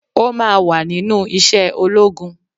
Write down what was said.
O máa wà nínú iṣẹ́ ológun.